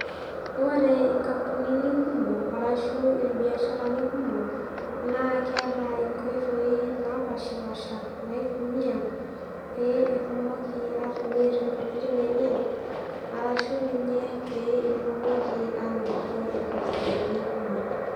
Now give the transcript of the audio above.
Ore inkampunini kumok, arashu ilbiasharani kumok, naa keata inkoitoi napaashipaasha, naitumiya pee etumoki atimir intokitin enye arashu ninye, pee etumoki anotito ilbiasharani kumok.